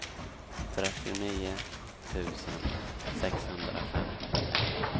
trettionio tusen sexhundrafem